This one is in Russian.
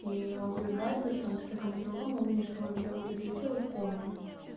ии он зовёт в вайбер там писать кому-то другому увидел что оно где-то висело вспомнил